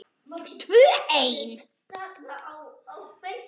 Tvö ein.